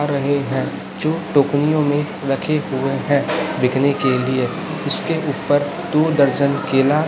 रहे हैं जो टोकरियों में रखे हुए हैं बिकने के लिए इसके ऊपर दो दर्जन केला--